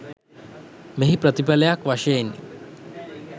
මෙහි ප්‍රතිඵලයක් වශයෙනි.